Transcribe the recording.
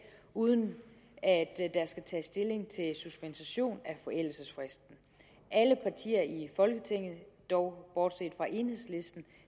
uden at der skal tages stilling til suspension af forældelsesfristen alle partier i folketinget dog bortset fra enhedslisten